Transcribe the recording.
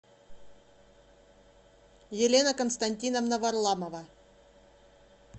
елена константиновна варламова